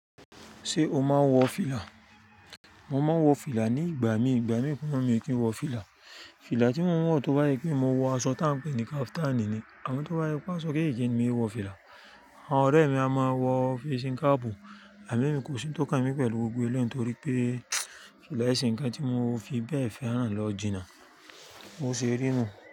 Ṣé o máa ń wọ fìlà? Mo máa ń wọ fìlà ní ìgbà mi, ìgbà mi mi kì í wọ fìlà. Fìlà tí mo ń wọ̀ tó bá yẹ pé mo wọ aṣọ tá ń pè ní kaftani ni. Àmọ́ tó bá yẹ kó aṣọ gẹ́gẹ́ ni mí wọ fìlà. Àwọn ọ̀rẹ́ mi a máa wọ físhing capu, à mí mi kò sí ń tókan mi pẹ̀lú gbogbo ẹ̀lẹ́yi torí pé fìlà ẹ̀ se nkan tí mo fi bẹ́ẹ̀ fẹ́ràn lọ jìnnà, ó ṣe rí nu.